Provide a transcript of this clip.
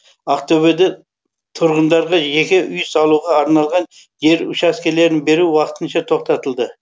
ақтөбеде тұрғындарға жеке үй салуға арналған жер учаскелерін беру уақытынша тоқтатылды